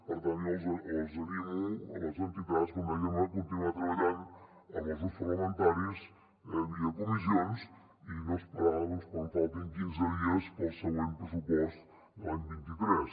per tant jo les animo les entitats com deia a continuar treballant amb els grups parlamentaris via comissions i a no esperar quan faltin quinze dies per al següent pressupost de l’any vint tres